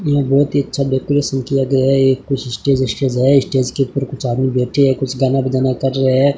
यह बहोत ही अच्छा डेकोरेशन किया गया है ये कुछ स्टेज स्टेज है स्टेज के ऊपर कुछ आदमी बैठे है कुछ गाना बजाना कर रहे है।